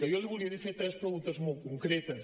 jo li volia fer tres preguntes molt concretes